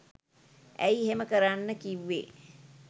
ඇයි එහෙම කරන්න කිව්වෙ